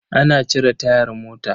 Ana cire tayar mota.